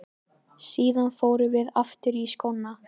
Síðan förum við aftur í skóna.